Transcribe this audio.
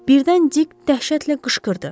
Birdən Dik dəhşətlə qışqırdı.